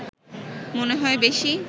মনে হয় বেশি